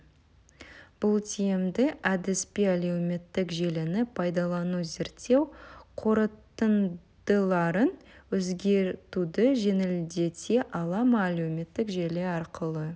бұл тиімді әдіс пе әлеуметтік желіні пайдалану зерттеу қорытындыларын өзгертуді жеңілдете ала ма әлеуметтік желі арқылы